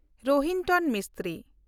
ᱨᱳᱦᱤᱱᱛᱚᱱ ᱢᱤᱥᱛᱨᱤ